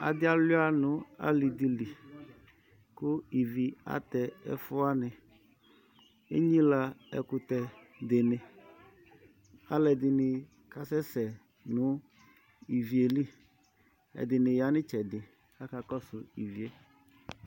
Adɩ alʋɩa nʋ alɩ dɩ li kʋ ivi atɛ ɛfʋ wanɩ Enyilǝ ɛkʋtɛ dɩnɩ Alʋɛdɩnɩ kasɛsɛ nʋ ivi yɛ li Ɛdɩnɩ ya nʋ ɩtsɛdɩ kʋ akakɔsʋ ivi yɛ